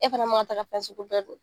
E fana man ka taa fɛn sugu bɛɛ don